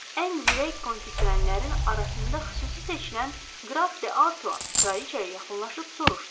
Ən zirek konki sürənlərin arasında xüsusi seçilən qraf de Artua kraliçaya yaxınlaşıb soruşdu.